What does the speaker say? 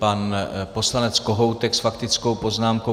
Pan poslanec Kohoutek s faktickou poznámkou.